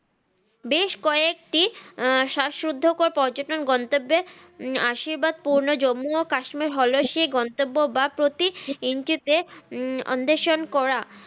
বেশ কয়েকটি আহ শ্বাস রুদ্ধকর পর্যটন গন্তব্যে উম আশীর্বাদ পুরনো জম্মু ও কাশ্মীর হল সে গন্তব্য বা প্রতি inchi তে উম অন্ধেষন করা